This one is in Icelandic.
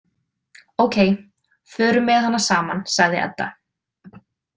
Ókei, förum með hana saman, sagði Edda.